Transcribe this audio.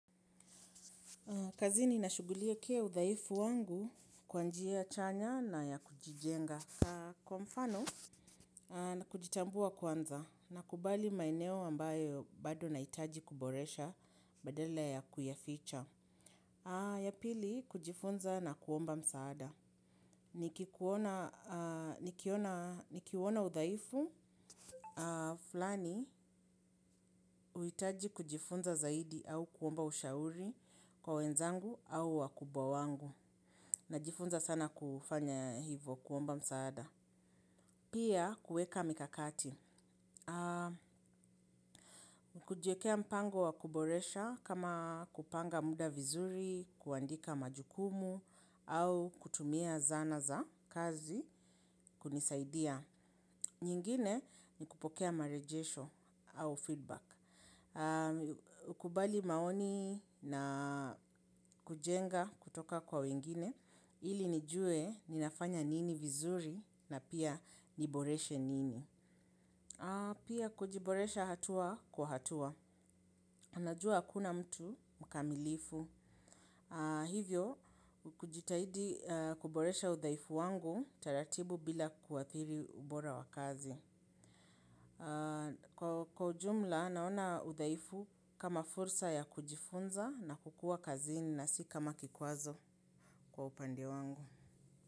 Kazini nashughulikia udhaifu wangu kwa njia chanya na ya kujijenga. Kwa mfano na kujitambua kwanza na kubali maeneo ambayo bado nahitaji kuboresha badala ya kuyaficha. Ya pili kujifunza na kuomba msaada. Ni kikuona udhaifu, fulani uhitaji kujifunza zaidi au kuomba ushauri kwa wenzangu au wakubwa wangu. Najifunza sana kufanya hivyo kuomba msaada. Pia, kueka mikakati. Kujiekea mpango wa kuboresha kama kupanga mda vizuri, kuandika majukumu, au kutumia zana za kazi kunisaidia. Nyingine ni kupokea marejesho au feedback. Nakubali maoni na kujenga kutoka kwa wengine. Ili nijue ninafanya nini vizuri na pia niboreshe nini. Pia kujiboresha hatua kwa hatua. Najua hakuna mtu mkamilifu. Hivyo, kujitahidi kuboresha udhaifu wangu taratibu bila kuathiri ubora wakazi. Kwa ujumla, naona udhaifu kama fursa ya kujifunza na kukuwa kazini na si kama kikwazo kwa upande wangu.